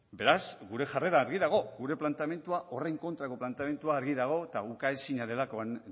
beraz gure jarrera argi dago gure planteamendua horren kontrako planteamendua argi dago eta ukaezina delakoan